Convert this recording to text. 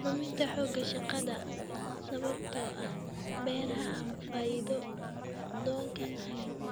Luminta xoogga shaqada sababtoo ah beeraha aan faa'iido doonka ahayn.